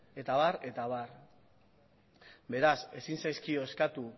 eta abar eta abar beraz ezin zaizkio eskatu